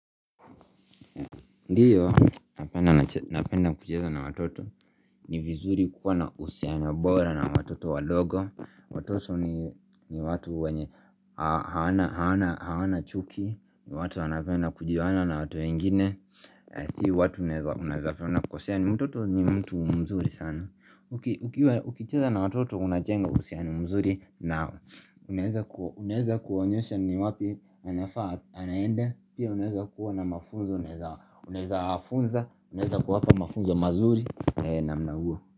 Ndiyo, napenda kucheza na watoto, ni vizuri kuwa na uhusiano bora na watoto wadogo Watoto ni watu wenye hawana chuki, watu wanapenda kujuana na watu wengine Si watu unaezapenda kukosea, mtoto ni mtu mzuri sana Ukicheza na watoto unajenga uhusiani mzuri nao Unaweza kuwanyesha ni wapi anafaa, anaenda, pia unaweza kuwa na mafunzo, unaweza wafunza, unaweza kuwa hapa mafunzo mazuri namna huo.